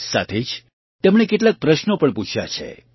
સાથે જ તેમણે કેટલાક પ્રશ્નો પણ પૂછ્યા છે